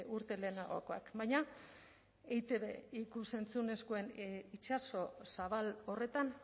urte lehenagokoak baina eitb ikus entzunezkoen itsaso zabal horretan